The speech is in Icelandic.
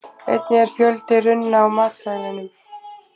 Einnig er fjöldi runna á matseðlinum.